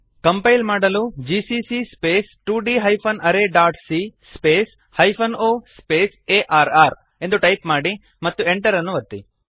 compile ಮಾಡಲು GCC 2d arrayಸಿಎ -o ಆರ್ರ್ ಜಿಸಿಸಿ ಸ್ಪೇಸ್ 2d arrayಸಿಎ space hyphen O space A R R ಎಂದು ಟೈಪ್ ಮಾಡಿ ಮತ್ತು Enter ಅನ್ನು ಒತ್ತಿ